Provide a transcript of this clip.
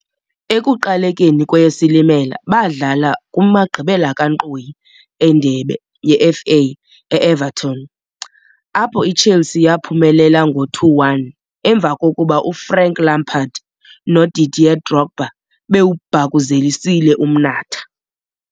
Ekuqalekeni kweyeSilimela baadlala kumagqibela kankqoyi endebe yeFA e-Everton, apho iChelsea yaaphumelela ngo-2-1, emva kokuba uFrank Lampard noDidier Drogba bewubhakuzelisile umnatha.